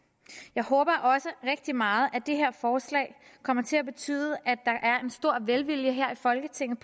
jeg håber også rigtig meget at det her forslag kommer til at betyde at der er en stor velvilje her i folketinget